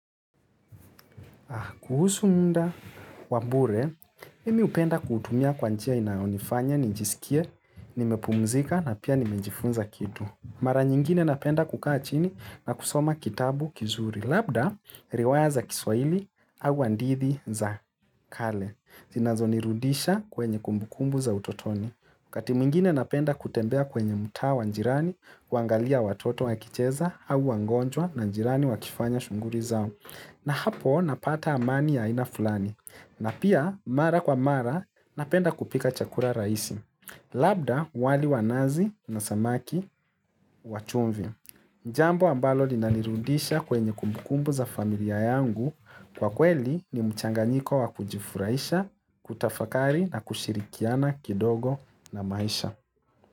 Kuhusu muda wa bure, mimi hupenda kuutumia kwa njia inaonifanya nijisikie nimepumzika na pia nimejifunza kitu. Mara nyingine napenda kukaa chini na kusoma kitabu kizuri. Labda, riwaya za kiswaili, au hadithi za kale, zinazonirudisha kwenye kumbukumbu za utotoni. Wakati mwingine napenda kutembea kwenye mtaa wa jirani, kuangalia watoto wakicheza, au wagonjwa na jirani wakifanya shughuli zao. Na hapo napata amani ya aina fulani. Na pia mara kwa mara napenda kupika chakula rahisi. Labda wali wa nazi na samaki wa chumvi. Jambo ambalo linanirudisha kwenye kumbukumbu za familia yangu. Kwa kweli ni mchanganyiko wa kujifurahisha, kutafakari na kushirikiana kidogo na maisha.